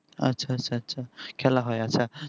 আচ্ছা আচ্ছা খেলা হয় আচ্ছা